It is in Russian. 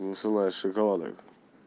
на высылаешь шоколадок